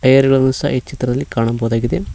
ಎರಗಲನ್ನು ಸಹ ಈ ಚಿತ್ರದಲ್ಲಿ ಕಾಣಬಹುದಾಗಿದೆ.